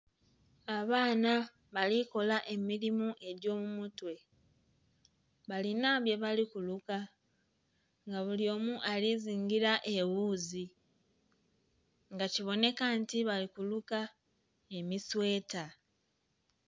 Abaana balikola emilimo egy'omu mutwe balinha byebali kuluka nga buli omu ali zingila eghuzi nga kibonheka nti bali kuluka emisweeta.